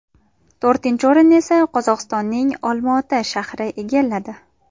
To‘rtinchi o‘rinni esa Qozog‘istonning Olmaota shahri egalladi.